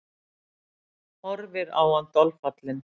Horfir á hann dolfallin.